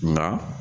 Nka